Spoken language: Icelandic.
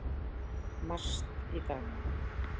MAST í dag.